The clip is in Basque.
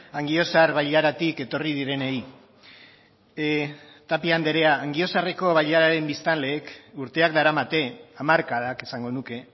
angiozar bailaratik etorri direnei tapia anderea angiozarreko bailararen biztanleek urteak daramate hamarkadak esango nuke